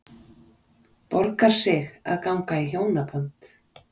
Borgar sig að ganga í hjónaband?